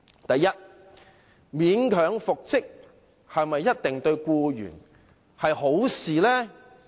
第一，勉強復職對僱員是否一定是好事呢？